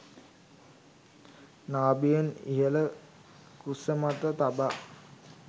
නාභියෙන් ඉහළ කුසමත තබා